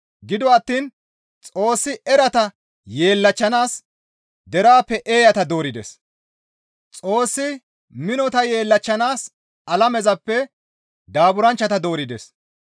Gido attiin Xoossi erata yeellachchanaas deraappe eeyata doorides; Xoossi minota yeellachchanaas alamezappe daaburanchchata doorides.